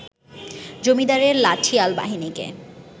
জমিদারের লাঠিয়াল বাহিনীকে